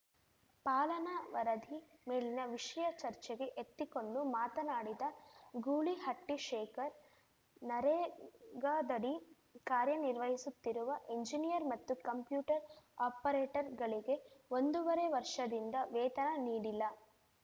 ಪಾಲನಾ ವರದಿ ಮೇಲಿನ ವಿಷಯ ಚರ್ಚೆಗೆ ಎತ್ತಿಕೊಂಡು ಮಾತನಾಡಿದ ಗೂಳಿಹಟ್ಟಿಶೇಖರ್‌ ನರೇಗಾದಡಿ ಕಾರ್ಯನಿರ್ವಹಿಸುತ್ತಿರುವ ಎಂಜಿನಿಯರ್‌ ಮತ್ತು ಕಂಪ್ಯೂಟರ್‌ ಆಪರೇಟರ್‌ಗಳಿಗೆ ಒಂದೂವರೆ ವರ್ಷದಿಂದ ವೇತನ ನೀಡಿಲ್ಲ